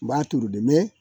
N b'a turu dɛ mɛ